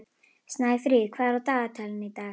Snæfríð, hvað er á dagatalinu í dag?